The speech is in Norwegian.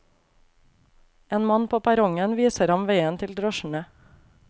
En mann på perrongen viser ham veien til drosjene.